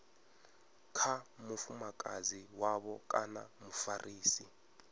kha mufumakadzi wavho kana mufarisi